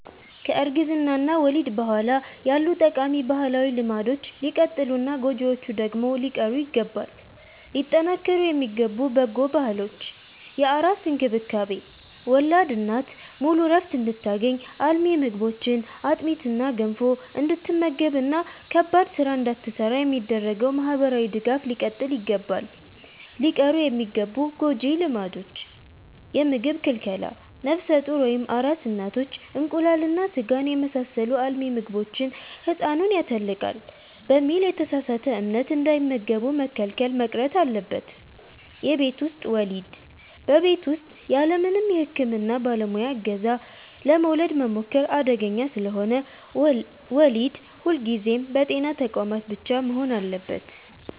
ከእርግዝና እና ወሊድ በኋላ ያሉ ጠቃሚ ባህላዊ ልማዶች ሊቀጥሉና ጎጂዎቹ ደግሞ ሊቀሩ ይገባል። ሊጠናከሩ የሚገቡ በጎ ባህሎች፦ የአራስ እንክብካቤ፦ ወላድ እናት ሙሉ ዕረፍት እንድታገኝ፣ አልሚ ምግቦችን (አጥሚትና ገንፎ) እንድትመገብና ከባድ ሥራ እንዳትሠራ የሚደረገው ማኅበራዊ ድጋፍ ሊቀጥል ይገባል። ሊቀሩ የሚገቡ ጎጂ ልማዶች፦ የምግብ ክልከላ፦ ነፍሰ ጡር ወይም አራስ እናቶች እንቁላልና ሥጋን የመሳሰሉ አልሚ ምግቦችን «ሕፃኑን ያተልቃል» በሚል የተሳሳተ እምነት እንዳይመገቡ መከልከል መቅረት አለበት። የቤት ውስጥ ወሊድ፦ በቤት ውስጥ ያለምንም የሕክምና ባለሙያ ዕገዛ ለመውለድ መሞከር አደገኛ ስለሆነ፣ ወሊድ ሁልጊዜም በጤና ተቋማት ብቻ መሆን አለበት።